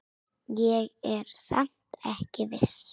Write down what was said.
Ég er samt ekki viss.